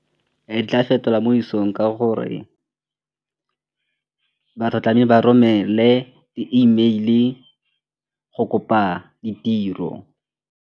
Ke tla fetola mo isong ka gore ba romele di-E mail-e go kopa ditiro.